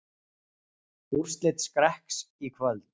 Úrslit Skrekks í kvöld